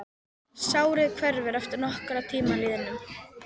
Sárið hverfur að nokkrum tíma liðnum.